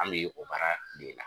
An mi o baara de la.